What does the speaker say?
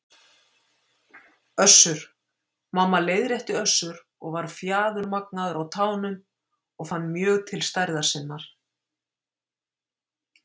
Össur- Mamma, leiðrétti Össur og var fjaðurmagnaður á tánum og fann mjög til stærðar sinnar.